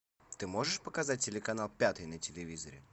ты можешь показать телеканал пятый на телевизоре